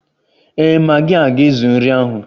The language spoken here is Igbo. Ee, magi a ga-ezuru nri ahụ